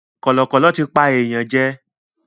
Kọ̀lọ̀kọ̀lọ̀ tí pa èèyàn jẹ.